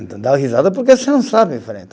Então, dá risada porque você não sabe, falei.